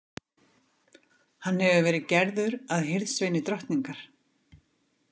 Hann hefur verið gerður að hirðsveini drottningar.